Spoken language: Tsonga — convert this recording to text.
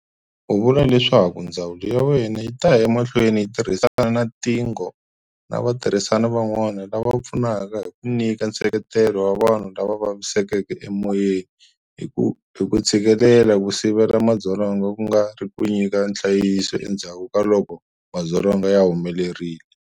U vule leswaku ndzawulo ya yena yi ta ya emahlweni yi tirhisana na tiNGO na vatirhisani van'wana lava pfunaka hi ku nyika nseketelo wa vanhu lava vavisekeke emoyeni hi ku tshikelela ku sivela madzolonga ku nga ri ku nyika nhlayiso endzhaku ka loko madzolonga ya humelerile.